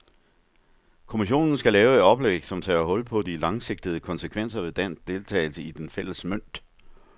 Kommissionen skal lave et oplæg, som tager hul på de langsigtede konsekvenser ved dansk deltagelse i den fælles mønt.